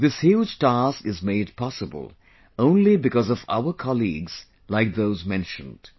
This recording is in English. This huge task is made possible only because of our colleagues like those mentioned